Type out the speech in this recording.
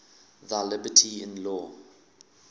thy liberty in law